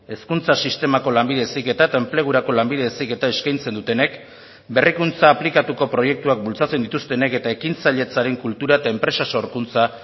hezkuntza sistemako lanbide heziketa eta enplegurako lanbide heziketa eskaintzen dutenek berrikuntza aplikatuko proiektuak bultzatzen dituztenek eta ekintzailetzaren kultura eta enpresa sorkuntza